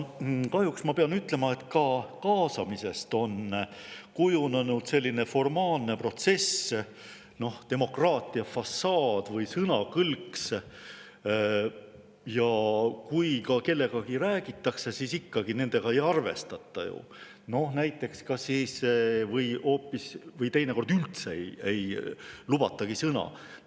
Kahjuks ma pean ütlema, et ka kaasamisest on kujunenud formaalne protsess, demokraatia fassaad või sõnakõlks, ja kui ka kellegagi räägitakse, siis ikkagi nendega ei arvestata või teinekord üldse ei sõna.